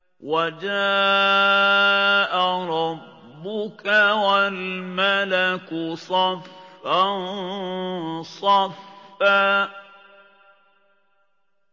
وَجَاءَ رَبُّكَ وَالْمَلَكُ صَفًّا صَفًّا